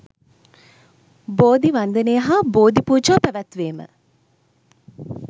බෝධි වන්දනය හා බෝධි පූජා පැවැත්වීම